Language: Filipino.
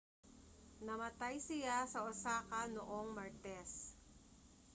namatay siya sa osaka noong martes